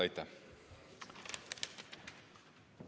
Aitäh!